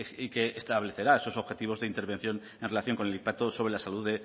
y que establecerá esos objetivos de intervención en relación con el impacto sobre la salud